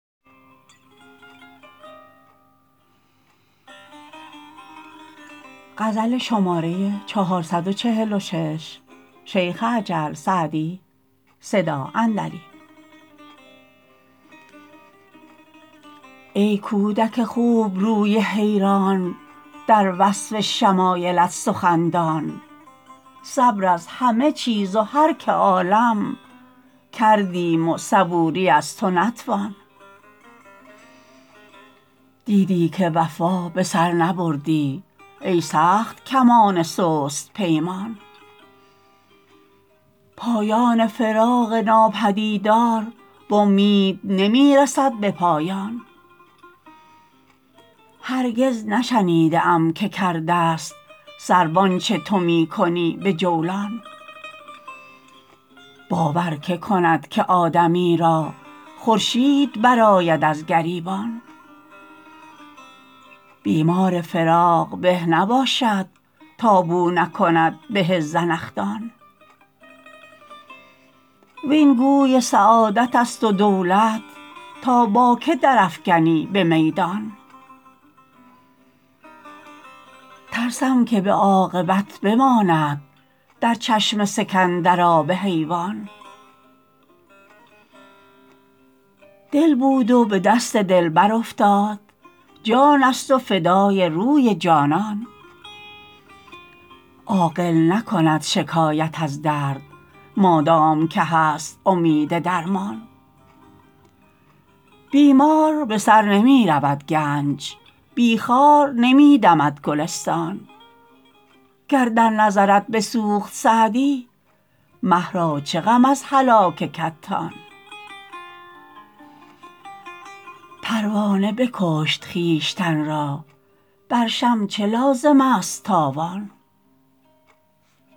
ای کودک خوبروی حیران در وصف شمایلت سخندان صبر از همه چیز و هر که عالم کردیم و صبوری از تو نتوان دیدی که وفا به سر نبردی ای سخت کمان سست پیمان پایان فراق ناپدیدار و امید نمی رسد به پایان هرگز نشنیده ام که کرده ست سرو آنچه تو می کنی به جولان باور که کند که آدمی را خورشید برآید از گریبان بیمار فراق به نباشد تا بو نکند به زنخدان وین گوی سعادت است و دولت تا با که در افکنی به میدان ترسم که به عاقبت بماند در چشم سکندر آب حیوان دل بود و به دست دلبر افتاد جان است و فدای روی جانان عاقل نکند شکایت از درد مادام که هست امید درمان بی مار به سر نمی رود گنج بی خار نمی دمد گلستان گر در نظرت بسوخت سعدی مه را چه غم از هلاک کتان پروانه بکشت خویشتن را بر شمع چه لازم است تاوان